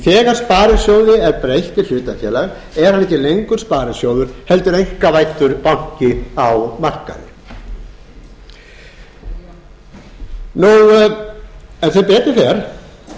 þegar sparisjóði er breytt í hlutafélag er hann ekki lengur sparisjóður heldur einkavæddur banki á markaði sem betur fer eru enn til